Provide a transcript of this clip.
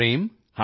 ਹਾਂ ਜੀ ਸਰ